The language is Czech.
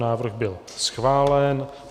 Návrh byl schválen.